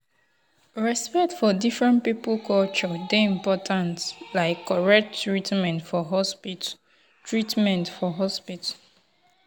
respect for different people culture dey important like correct treatment for hospital. treatment for hospital.